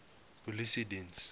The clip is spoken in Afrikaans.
polisiediens